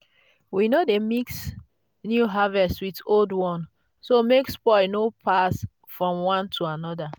we no dey mix new harvest with old one so make spoil no pass from one to another.